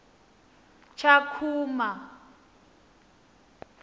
tshakhuma